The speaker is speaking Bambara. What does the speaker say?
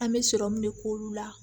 An bɛ sɔrɔmu de k'olu la